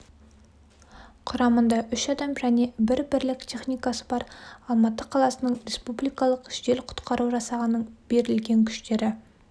құрамында үш адам және бір бірлік техникасы бар алматы қаласы республикалықы жедел-құтқару жасағының берілген күштері